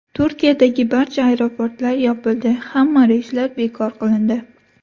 Turkiyadagi barcha aeroportlar yopildi, hamma reyslar bekor qilindi.